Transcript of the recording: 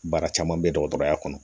Baara caman bɛ dɔgɔtɔrɔya kɔnɔ